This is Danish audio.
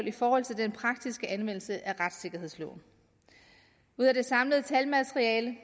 i forhold til den praktiske anvendelse af retssikkerhedsloven ud af det samlede talmateriale